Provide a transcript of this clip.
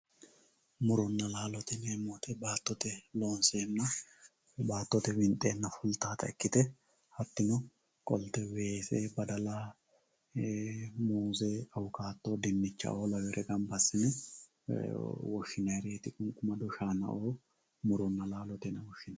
Muronna laalo yineemmo woyte baattote winxenna fultanotta ikkite hatino biife fultanotta ikkite weese badala, muze, awukado ,dinichaho labbanori woshinannireti shaanao labbanori.